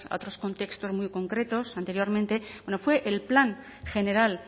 otros contextos muy concretos anteriormente fue el plan general